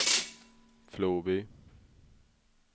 Floby